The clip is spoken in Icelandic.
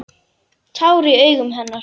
Tár í augum hennar.